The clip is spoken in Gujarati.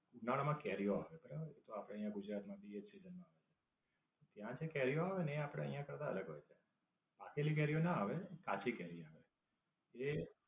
ઉનાળા માં કેરીઓ આવે બરાબર તો આપડે અહીંયા ગુજરાતમાં ભી એ જ season માં આવે ત્યાં જે કેરીઓ આવે ને એ આપડે કરતા અલગ હોય છે. પાકેલી કેરીઓ ના આવે પણ કાચી કેરી આવે. એ